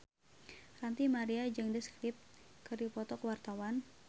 Ranty Maria jeung The Script keur dipoto ku wartawan